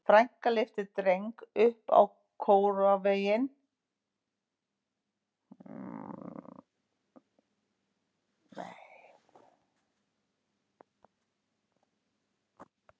Frænka lyfti Dreng upp á króarvegginn svo hann gæti séð blessuð litlu lömbin.